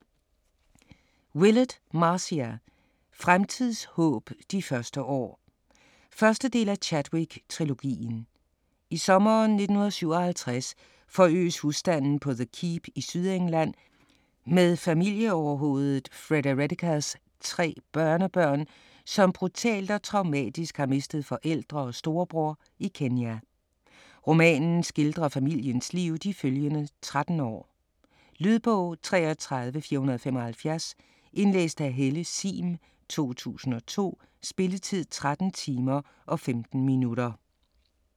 Willett, Marcia: Fremtids håb: de første år 1. del af Chadwick trilogien. I sommeren 1957 forøges husstanden på The Keep i Sydengland med familieoverhovedet Fredericas tre børnebørn, som brutalt og traumatisk har mistet forældre og storebror i Kenya. Romanen skildrer familiens liv de følgende tretten år. . Lydbog 33475 Indlæst af Helle Sihm, 2002. Spilletid: 13 timer, 15 minutter.